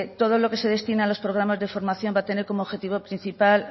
todo lo que se destine a los programas de formación va tener como objetivo principal